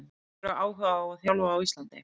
Hefurðu áhuga á að þjálfa á Íslandi?